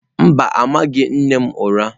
Mba, amaghị m nne m ụra.